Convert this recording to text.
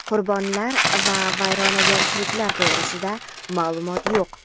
Qurbonlar va vayronagarchiliklar to‘g‘risida ma’lumot yo‘q.